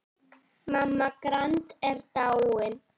Mamma Grand er dáin.